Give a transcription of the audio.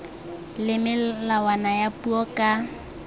le melawana ya puo ka